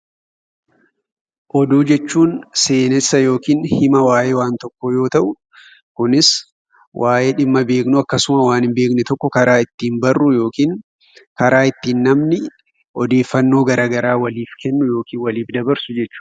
Oduu jechuun seenessa yookiin hima waayee waan tokkoo yoo ta'u, kunis waayee dhimma beeknuu akkasuma waan hin beekne tokko karaa ittiin barru yookiin karaa ittiin namni odeeffannoo garagaraa waliif kennu (waliif dabarsu) jechuu dha.